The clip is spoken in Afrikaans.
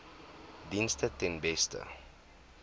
dienste ten beste